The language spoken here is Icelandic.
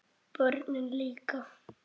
Börnin líka.